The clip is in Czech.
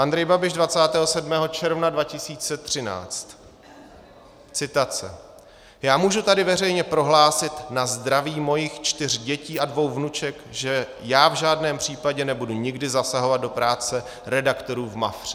Andrej Babiš 27. června 2013 - citace: "Já můžu tady veřejně prohlásit na zdraví svých čtyř dětí a dvou vnuček, že já v žádném případě nebudu nikdy zasahovat do práce redaktorů v Mafře."